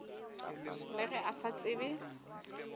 le ge a sa tsebe